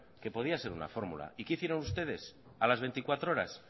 que podía ser una fórmula y qué hicieron ustedes a las veinticuatro horas